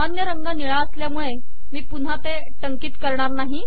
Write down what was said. सामान्य रंग निळा असल्यामुळे मी पुन्हा ते टंकित करणार नाही